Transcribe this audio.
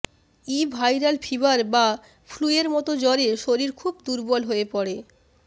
ই viral fever বা flu এর মত জ্বরে শরীর খুব দুর্বল হয়ে পড়ে